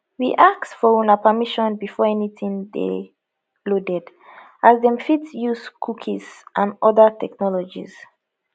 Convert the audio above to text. we ask for una permission before anytin dey loaded as dem fit dey use cookies and oda technologies